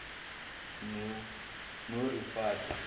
norifate